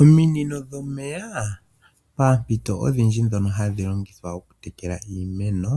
Ominino dhoka poompito odhindji mpono hadhi longithwa okutekela iimeno,